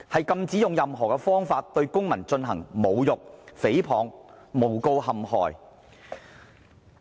禁止用任何方法對公民進行侮辱、誹謗和誣告陷害。